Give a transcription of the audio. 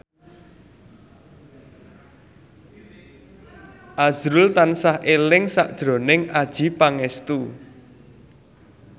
azrul tansah eling sakjroning Adjie Pangestu